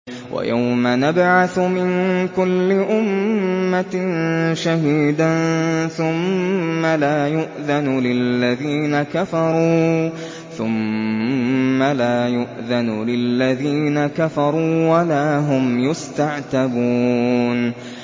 وَيَوْمَ نَبْعَثُ مِن كُلِّ أُمَّةٍ شَهِيدًا ثُمَّ لَا يُؤْذَنُ لِلَّذِينَ كَفَرُوا وَلَا هُمْ يُسْتَعْتَبُونَ